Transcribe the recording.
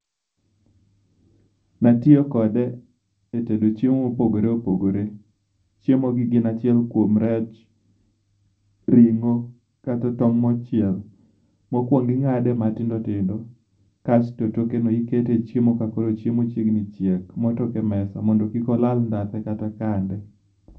Natiyo kode etedo chiemo mopogore opogore. Chiemogi gin achiel kuom rech, ring'o kata tong' mochiel. Mokuongo ing'ade matindo tindo kasto tokeno ikete echiemo ka koro chiemo chiegni chiek, motok e mesa mondo kik olal ndhathe kata kande